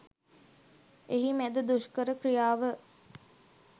එහි මැද දුෂ්කර ක්‍රියාව